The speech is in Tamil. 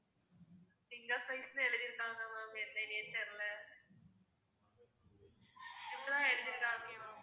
finger fries னு எழுதிருக்காங்க ma'am என்னனே தெரியல இப்படி தான் எழுதிருக்காங்க ma'am